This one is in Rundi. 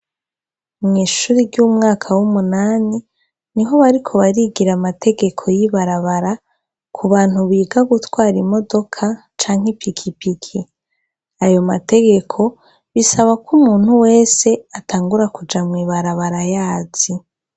Mw'ishuri ry'umwaka w'umunani, ni ho bariko barigira amategeko y'ibarabara, ku bantu biga gutwara imodoka canke ipiki piki. Ayo mategeko bisaba ko umuntu wese atangura kuja mu ibarabara aba ayazi.